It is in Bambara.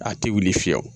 A tɛ wuli fiyɛ o